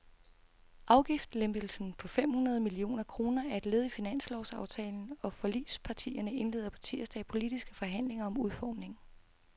Afgiftslempelsen på fem hundrede millioner kroner er led i finanslovsaftalen, og forligspartierne indleder på tirsdag politiske forhandlinger om udformningen.